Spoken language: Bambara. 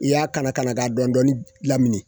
I y'a kala kala k'a dɔɔnin dɔɔnin lamini